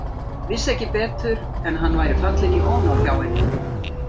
Vissi ekki betur en að hann væri fallinn í ónáð hjá henni.